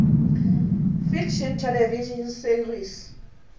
fiction television series